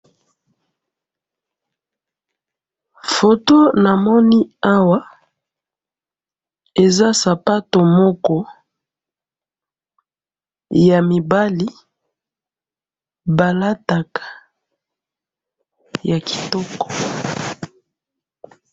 Photo namonaki Awa, eza sapato Moko ya mibali balataka, ya kitoko